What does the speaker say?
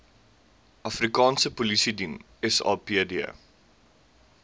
afrikaanse polisiediens sapd